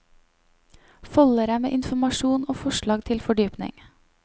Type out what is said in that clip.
Foldere med informasjon og forslag til fordypning.